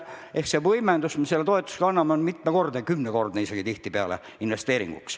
Seega võimendus, mis me selle toetusega investeeringuteks anname, on mitmekordne, kümnekordne isegi tihtipeale.